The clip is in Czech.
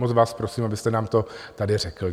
Moc vás prosím, abyste nám to tady řekl.